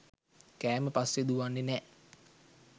කෑම පස්සේ දුවන්නේ නෑ.